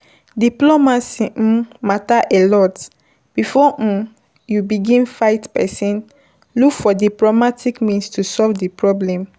Diplomacy um matter alot, before um you begin fight person, look for diplomatic means to solve di problem